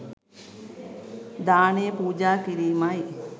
දානය පූජා කිරීමයි.